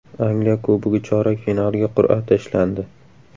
Angliya Kubogi chorak finaliga qur’a tashlandi.